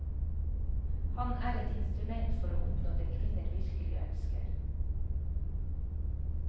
Han er et instrument for å oppnå det kvinner virkelig ønsker.